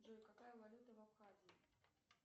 джой какая валюта в абхазии